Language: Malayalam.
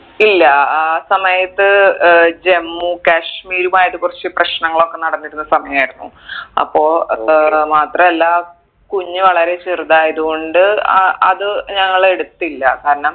ഇല്ല ആ സമയത്ത് ഏർ ജമ്മു കാശ്മീറുമായിട്ട് കുറച്ച് പ്രശ്നങ്ങൾ ഒക്കെ നടന്നിരുന്ന സമയായിരുന്നു അപ്പൊ ഏർ മാത്രല്ല കുഞ്ഞ് വളരെ ചെറുതായത് കൊണ്ട് ആ അത് ഞങ്ങൾ എടുത്തില്ല കാരണം